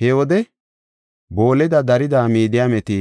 He wode booleda darida Midiyaameti,